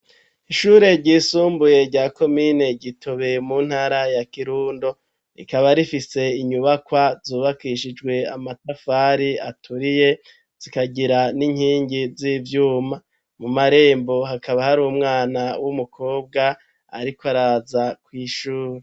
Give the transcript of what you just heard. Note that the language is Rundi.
Ishure ryisumbuye rya komine Gitobe mu ntara ya kirundo. Rikaba rifise inyubakwa zubakishijwe amatafari aturiye zikagira n'inkingi z'ivyuma, mu marembo hakaba hari umwana w'umukobwa ariko araza kw' ishure.